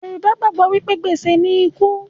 Yorùbá gbàgbọ́ wí pé, gbèsè ni ikú